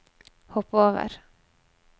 hopp over